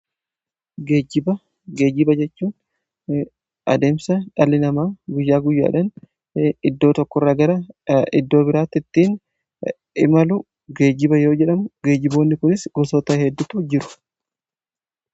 geejiba geejiba jechuun adeemsa dhaalli namaa guyyaa guyyaadhan iddoo tokko irraa gara iddoo biraatti ittiin imalu geejiba yoo jedhamu geejiboonni kunis gosoo ta'e heddutu jiru.